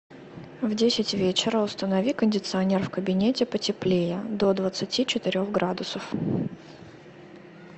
в десять вечера установи кондиционер в кабинете потеплее до двадцати четырех градусов